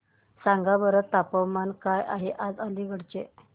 सांगा बरं तापमान काय आहे आज अलिगढ चे